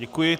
Děkuji.